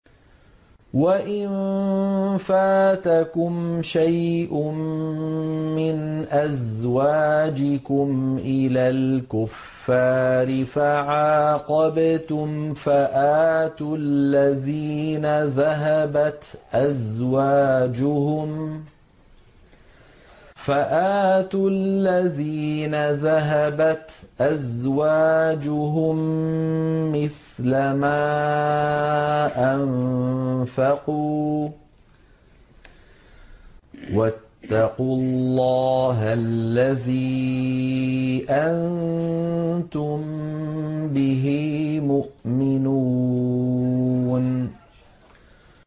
وَإِن فَاتَكُمْ شَيْءٌ مِّنْ أَزْوَاجِكُمْ إِلَى الْكُفَّارِ فَعَاقَبْتُمْ فَآتُوا الَّذِينَ ذَهَبَتْ أَزْوَاجُهُم مِّثْلَ مَا أَنفَقُوا ۚ وَاتَّقُوا اللَّهَ الَّذِي أَنتُم بِهِ مُؤْمِنُونَ